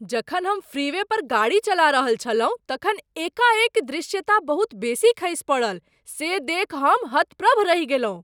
जखन हम फ्रीवे पर गाड़ी चला रहल छलहुँ तखन एकाएक दृश्यता बहुत बेसी खसि पड़ल से देखि हम हतप्रभ रहि गेलहुँ।